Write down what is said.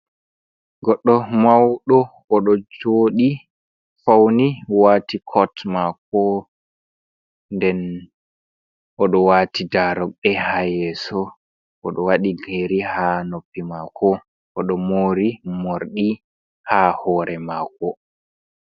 Goɗɗo mauɗo oɗo joɗi, fauni, wati kot mako, nden oɗo wati da rude ha yeso mako, oɗo waɗi yeri ha noppi mako oɗo mori morɗi ha hore mako.